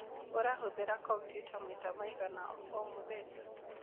Ũrahũthĩra kompiuta maita maigana o mũthenya?